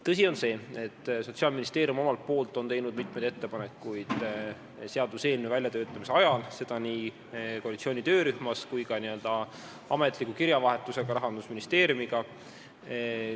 Tõsi on see, et Sotsiaalministeerium omalt poolt on seaduseelnõu väljatöötamise ajal teinud mitmeid ettepanekuid, seda nii koalitsiooni töörühmas kui ka n-ö ametlikus kirjavahetuses Rahandusministeeriumiga.